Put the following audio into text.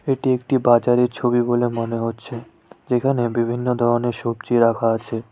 এটি একটি বাজারের ছবি বলে মনে হচ্ছে যেখানে বিভিন্ন ধরনের সবজি রাখা আছে।